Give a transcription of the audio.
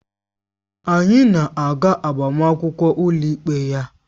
Anyị na-aga agbamakwụkwọ ụlọikpe ya